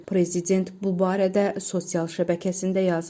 Prezident bu barədə sosial şəbəkəsində yazıb.